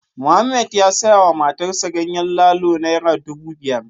Mohammed ya sayawa matarsa ​​ganyen lalo naira dubu biyar